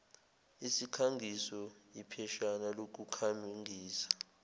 sikhangiso ipheshana lokukhangisa